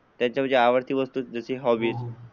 त्यांच्या आवडती वस्तू म्हणजे हॉबी.